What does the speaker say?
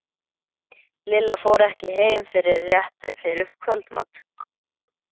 Lilla fór ekki heim fyrr en rétt fyrir kvöldmat.